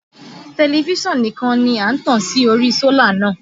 Tẹlifíṣàn nìkan ni a tàn sí ori sólà náà